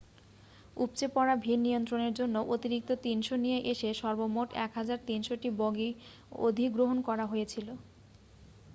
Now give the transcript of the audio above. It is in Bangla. উপচে পড়া ভিড় নিয়ন্ত্রনের জন্য অতিরিক্ত 300 নিয়ে এসে সর্বমোট 1,300 টি বগি অধিগ্রহণ করা হয়েছিল